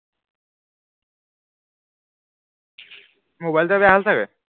mobile বেয়া হল চাগে